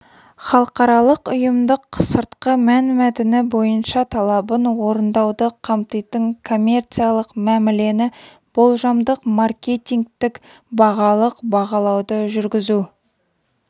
халықаралық-ұйымдық сыртқы мәнмәтіні бойынша талабын орындауды қамтитын коммерциялық мәмілені болжамдық маркетингтік-бағалық бағалауды жүргізу